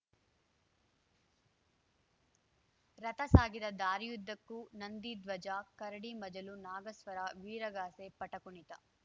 ರಥ ಸಾಗಿದ ದಾರಿಯುದ್ದಕ್ಕೂ ನಂದಿಧ್ವಜ ಕರಡಿ ಮಜಲು ನಾಗಸ್ವರ ವೀರಗಾಸೆ ಪಟಕುಣಿತ